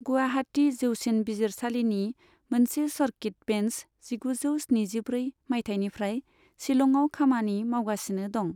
गुवाहाटि जौसिन बिजिरसालिनि मोनसे सर्किट बेन्स जिगुजौ स्निजिब्रै मायथाइनिफ्राय शिलंआव खामानि मावगासिनो दं।